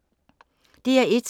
DR1